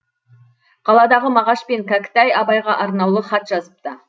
қаладағы мағаш пен кәкітай абайға арнаулы хат жазыпты